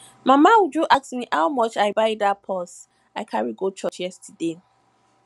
mama uju ask me how much i buy dat purse i carry go church yesterday